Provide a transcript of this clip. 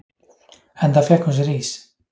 Enda fékk hún sér ís.